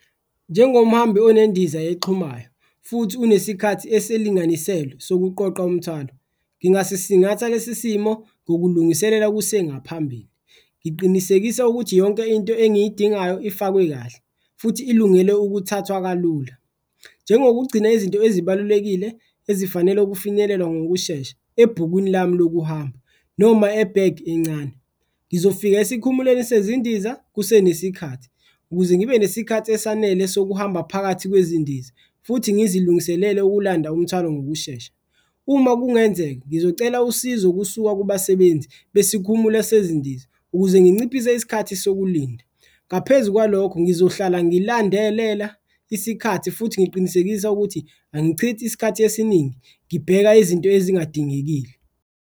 Njengomhambi onendiza exhumayo futhi unesikhathi esilinganiselwe sokuqoqa umthwalo ngingasisingatha lesi simo ngokulungiselela kusengaphambili, ngiqinisekisa ukuthi yonke into engiyidingayo ifakwe kahle futhi ilungele ukuthathwa kalula. Njengokugcina izinto ezibalulekile ezifanele ukufinyelelwa ngokushesha ebhukwini lami lokuhamba noma ebhegi encane, ngizofika esikhumulweni sezindiza kuse nesikhathi ukuze ngibe nesikhathi esanele sokuhamba phakathi kwezindiza futhi ngizilungiselele ukulanda umthwalo ngokushesha. Uma kungenzeka, ngizocela usizo kusuka kubasebenzi besikhumulo sezindiza ukuze nginciphise isikhathi sokulinda ngaphezu kwalokho, ngizohlala ngilandelela isikhathi futhi ngiqinisekisa ukuthi angichithi isikhathi esiningi ngibheka izinto ezingadingekile.